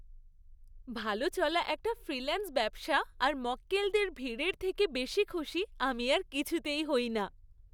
ভালো চলা একটা ফ্রিল্যান্স ব্যবসা আর মক্কেলদের ভিড়ের থেকে বেশি খুশি আমি আর কিছুতেই হই না।